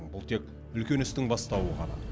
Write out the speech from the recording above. бұл тек үлкен істің бастауы